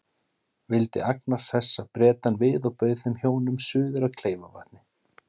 Vildi Agnar hressa Bretann við og bauð þeim hjónum suður að Kleifarvatni.